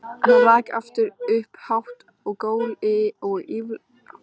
Hann rak aftur upp hátt gól og ýlfraði síðan ámáttlega.